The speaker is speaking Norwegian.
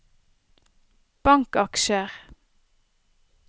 bankaksjer